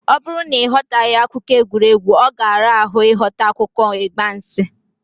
Ọ bụrụ na ị ghọtaghị akụkọ egwuregwu, ọ ga-ara ahụ ịghọta akụkọ ịgbansị.